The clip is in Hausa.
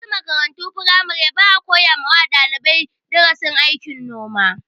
A wasu makarantun firamaren, ba a koya wa dalibai darasin aikin noma.